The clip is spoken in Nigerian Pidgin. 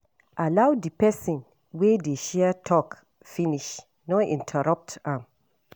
Allow di person wey dey share talk finish, no interrupt am